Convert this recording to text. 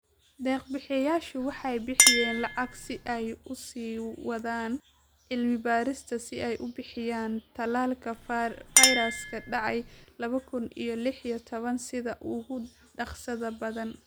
Deeq-bixiyeyaashu waxay bixiyeen lacag si ay u sii wadaan cilmi-baarista si ay u bixiyaan tallaalka fayraska dhacay laba kuun iyo lix iyo tobaan sida ugu dhakhsaha badan."